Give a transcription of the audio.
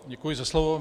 Děkuji za slovo.